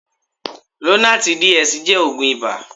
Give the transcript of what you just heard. Lonarti DS jẹ́ oògùn ibà.